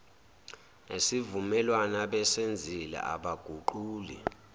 nesivumelwano abasenzile abaguquli